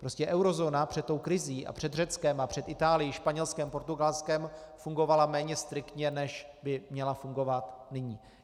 Prostě eurozóna před tou krizí a před Řeckem a před Itálií, Španělskem, Portugalskem fungovala méně striktně, než by měla fungovat nyní.